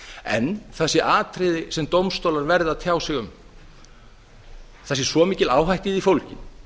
en það sé atriði sem dómstólar verði að tjá sig um það sé svo mikil áhætta í því fólgin